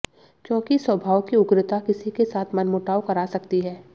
क्योंकि स्वभाव की उग्रता किसी के साथ मनमुटाव करा सकती है